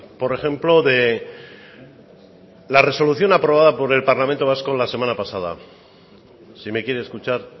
por ejemplo de la resolución aprobada por el parlamento vasco la semana pasada si me quiere escuchar